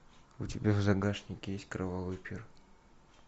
у тебя в загашнике есть кровавый пир